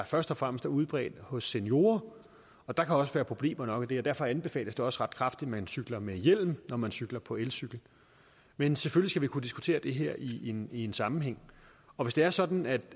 først og fremmest er udbredt hos seniorer og der kan også være problemer nok i det derfor anbefales det også ret kraftigt at man cykler med hjelm når man cykler på elcykel men selvfølgelig kunne diskutere det her i en en sammenhæng og hvis det er sådan at